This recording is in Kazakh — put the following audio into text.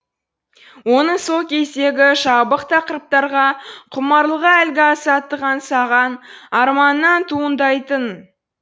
оның сол кездегі жабық тақырыптарға құмарлығы әлгі азаттық аңсаған арманынан туындайтын